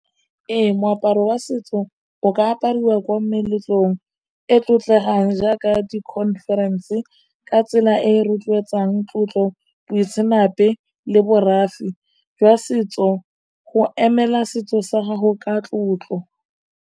Ee moaparo wa setso o ka apariwa ko meletlong e tlotlegang jaaka di-conference, ka tsela e e rotloetsang tlotlo boitseanape le borafi jwa setso go emela setso sa gago ka tlotlo.